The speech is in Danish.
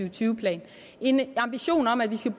og tyve plan en ambition om at vi skal